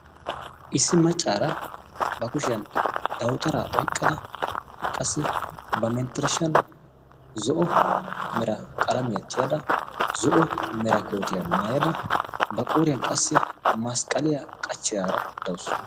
issi maccaara ba kushiyan dawutaraa oyqqada qassi ba menttirishshan zo'o mera qalamiyaa tiyaada zo'o mera kootiyaa maayada ba qooriyan qassi masqqaliyaa qachchiyaara dawusu